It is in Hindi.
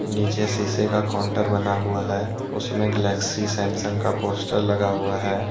नीचे शीशे का काउंटर बना हुआ है उसमें गैलेक्सी सैमसंग का पोस्टर लगा हुआ है।